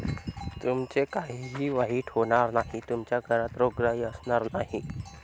तुमचे काहीही वाईट होणार नाही. तुमच्या घरात रोगराई असणार नाही.